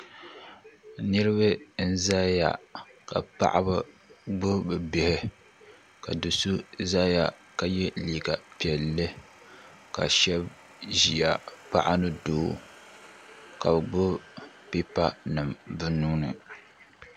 niriba n-zaya ka paɣaba gbubi bɛ bihi ka do' so zaya ka ye liiga piɛlli ka shɛba ʒiya paɣa ni doo ka bɛ gbubi pipa nima bɛ nuu ni.